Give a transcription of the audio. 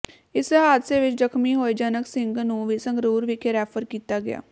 ਇਸ ਹਾਦਸੇ ਵਿਚ ਜਖ਼ਮੀ ਹੋਏ ਜਨਕ ਸਿੰਘ ਨੂੰ ਵੀ ਸੰਗਰੂਰ ਵਿਖੇ ਰੈਫਰ ਕੀਤਾ ਗਿਆ